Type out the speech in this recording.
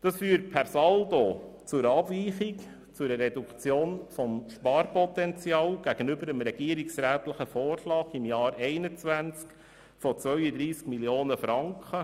Das führt per Saldo zu einer Abweichung des Sparpotenzials gegenüber dem regierungsrätlichen Vorschlag im Jahr 2021 von 32 Mio. Franken.